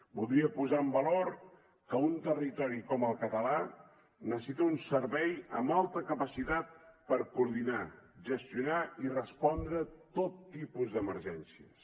voldria posar en valor que un territori com el català necessita un servei amb alta capacitat per coordinar gestionar i respondre tot tipus d’emergències